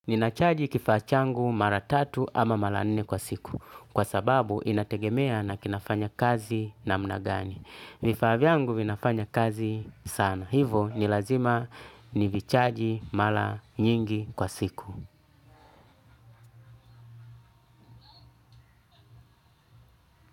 Ninachaji kifaa changu mara tatu ama mara nne kwa siku kwa sababu inategemea na kinafanya kazi na namnagani. Vifaa vyangu vinafanya kazi sana. Hivo nilazima nivichaji mala nyingi kwa siku.